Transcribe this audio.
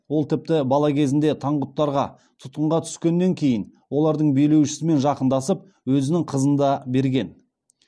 ол тіпті бала кезінде таңғұттарға тұтқынға түскеннен кейін олардың билеушісімен жақындасып өзінің қызын да берген